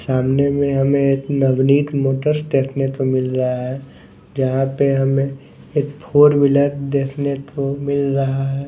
सामने में हमें एक नवनीत मोटर्स देखने को मिल रहा हैं जहाँ पे हमें एक फोर व्हीलर देखने को मिल रहा हैं।